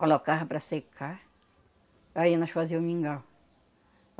Colocava para secar, aí nós fazia o mingau.